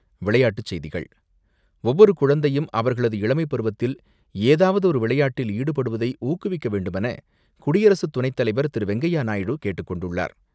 விளையாட்டுச் செய்திகள் ஒவ்வொரு குழந்தையும் அவர்களது இளமைப்பருவத்தில் ஏதாவது ஒரு விளையாட்டில் ஈடுபடுவதை ஊக்குவிக்க வேண்டுமென குடியரசுத் துணைத்தலைவர் திரு.வெங்கையா நாயுடு கேட்டுக் கொண்டுள்ளார்.